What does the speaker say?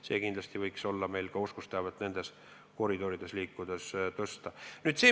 See eesmärk võiks meil ka olla, et oskusteavet nendes koridorides liikudes parandada.